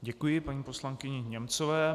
Děkuji paní poslankyni Němcové.